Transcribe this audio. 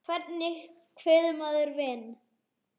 Hvernig kveður maður vin?